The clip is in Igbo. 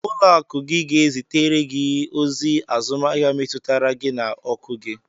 Ụlọakụ gị ga-ezitere gị ozi azụmahịa metụtara gị na ọkụ gị.